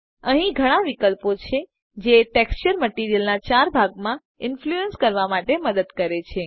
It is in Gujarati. અહી ઘણા વિકલ્પો છે જે ટેક્સચરને મટીરીઅલના ચાર ભાગ માં ઇન્ફ્લુઅન્સ કરવા માટે મદદ કરે છે